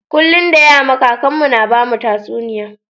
Kullun da yama kakan mu na bamu tatsuniya.